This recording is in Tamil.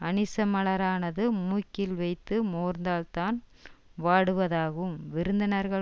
அனிச்ச மலரானது மூக்கில் வைத்து மோந்ததால்தான் வாடுவதாகும் விருந்தினர்கள்